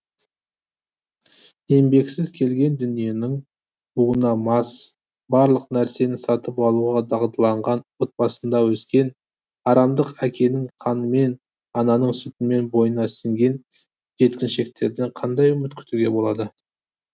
еңбексіз келген дүниенің буына мас барлық нәрсені сатып алуға дағдыланған отбасында өскен арамдық әкенің қанымен ананың сүтімен бойына сіңген жеткіншектерден қандай үміт күтуге болады